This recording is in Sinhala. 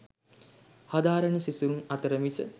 හදාරණ සිසුන් අතර මිස